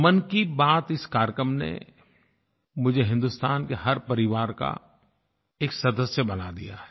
मन की बात इस कार्यक्रम ने मुझे हिन्दुस्तान के हर परिवार का एक सदस्य बना दिया है